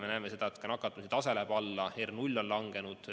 Me näeme seda ka, et nakatumisetase läheb alla, R on langenud.